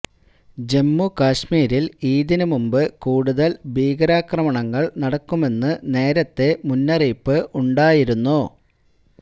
ജമ്മു കശ്മീരില് ഈദിന് മുമ്പ് കൂടുതല് ഭീകരാക്രമണങ്ങള് നടക്കുമെന്ന് നേരത്തെ മുന്നറിയിപ്പ് ഉണ്ടായിരുന്നു